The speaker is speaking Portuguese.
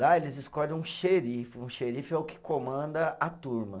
Lá eles escolhem um xerife, um xerife é o que comanda a turma.